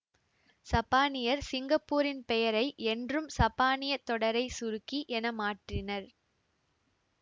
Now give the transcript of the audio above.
சப்பானியர் சிங்கப்பூரின் பெயரை என்றும் சப்பானியத் தொடரைச் சுருக்கி என மாற்றினர்